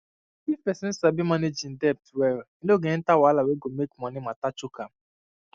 if person sabi manage im debt well e no go enter wahala wey go make money matter choke am